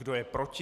Kdo je proti?